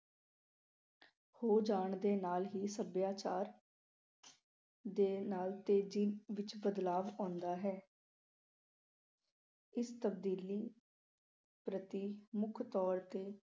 ਹੋ ਜਾਣ ਦੇ ਨਾਲ ਹੀ ਸੱਭਿਆਚਾਰ ਦੇ ਨਾਲ ਤੇਜ਼ੀ ਵਿੱਚ ਬਦਲਾਵ ਆਉਂਂਦਾ ਹੈ। ਇਸ ਤਬਦੀਲੀ ਪ੍ਰਤੀ ਮੁੱਖ ਤੌਰ ਤੇ